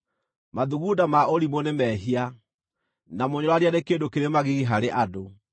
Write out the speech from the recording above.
Mathugunda ma ũrimũ nĩ mehia, na mũnyũrũrania nĩ kĩndũ kĩrĩ magigi harĩ andũ.